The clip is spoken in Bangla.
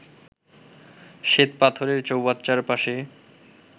শ্বেতপাথরের চৌবাচ্চার পাশে